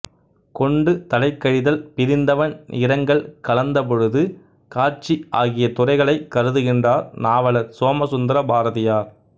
கொண்டு தலைக்கழிதல் பிரிந்தவண் இரங்கல் கலந்தபொழுது காட்சி ஆகிய துறைகளைக் கருதுகின்றார் நாவலர் சோமசுந்தர பாரதியார்